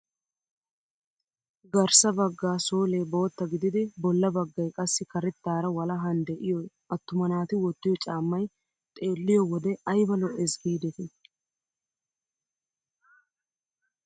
Garssa bagga soolee bootta gididi bolla baggay qassi karettaara walahan de'iyoo attuma naati wottiyoo caammay xeelliyoo wode ayba lo'ees gidetii!